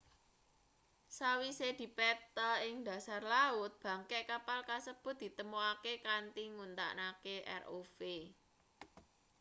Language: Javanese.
sawise dipetha ing dhasar laut bangke kapal kasebut ditemokake kanthi nggunakake rov